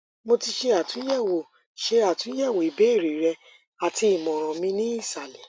mo ti ṣe atunyẹwo ṣe atunyẹwo ibeere rẹ ati imọran mi ni isalẹ